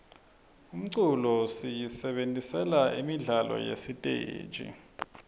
umculo siyisebentisela imidlalo yasesiteji